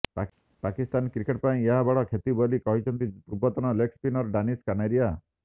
Pakistan cricket ପାଇଁ ଏହା ବଡ଼ କ୍ଷତି ବୋଲି କହିଛନ୍ତି ପୂର୍ବତନ ଲେଗ୍ ସ୍ପିନର୍ ଡାନିଶ କାନେରିଆ